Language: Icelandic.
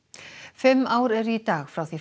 fimm ár eru í dag frá því